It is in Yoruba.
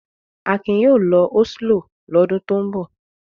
Akin yóò lọ Oslo lọ́dún tó ń bọ̀.